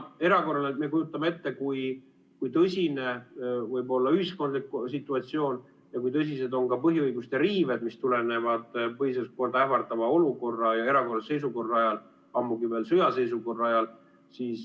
Me kujutame ette, kui tõsine võib olla ühiskondlik situatsioon ja kui tõsised on ka põhiõiguste riived, mis tulevad põhiseaduslikku korda ähvardava olukorra ja erakorralise seisukorra ajal, ammugi veel sõjaseisukorra ajal.